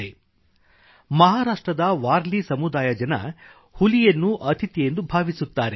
• ಮಹಾರಾಷ್ಟ್ರದ ವಾರ್ಲಿ ಸಮುದಾಯದಜನ ಹುಲಿಯನ್ನು ಅತಿಥಿಯೆಂದು ಭಾವಿಸುತ್ತಾರೆ